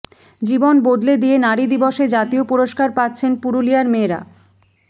জীবন বদলে দিয়ে নারী দিবসে জাতীয় পুরস্কার পাচ্ছেন পুরুলিয়ার মেয়েরা